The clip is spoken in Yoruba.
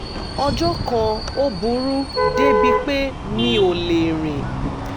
ọjọ́ kan ó burú débi pé mi ò lè rìn